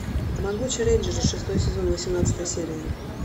могучие рейнджеры шестой сезон восемнадцатая серия